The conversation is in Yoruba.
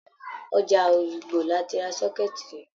Ọjà Òyìngbò la ti ra sọ́kẹ́ẹ̀tì yìí.